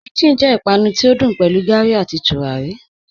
Chin-chin jẹ ìpànù tí o dùn pẹ̀lú gárí àti túràrí.